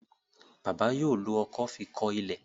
bàbá yóò ló ọkọ́ fí kò ilé.